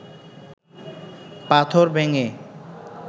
পাথর ভেঙে